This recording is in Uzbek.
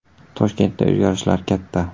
Toshkentda o‘zgarishlar katta.